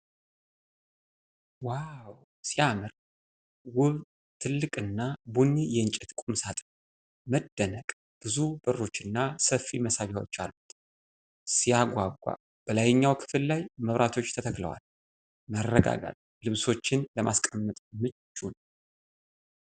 ዋው ሲያምር! ውብ፣ ትልቅና ቡኒ የእንጨት ቁምሳጥን። መደነቅ። ብዙ በሮች እና ሰፊ መሳቢያዎች አሉት። ሲያጓጓ! በላይኛው ክፍል ላይ መብራቶች ተተክለዋል። መረጋጋት። ልብሶችን ለማስቀመጥ ምቹ ነው።